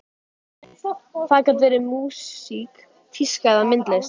Það gat verið músík, tíska eða myndlist.